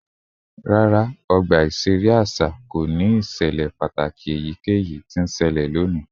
Rara, ọgba iṣere aṣa ko ni iṣẹlẹ pataki eyikeyi ti n ṣẹlẹ loni